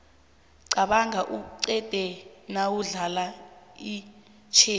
qabanga uqede nawudlala itjhezi